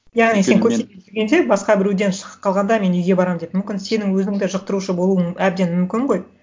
яғни сен басқа біреуден шығып қалғанда мен үйге барамын деп мүмкін сенің өзің да жұқтырушы болуың әбден мүмкін ғой